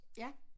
Ja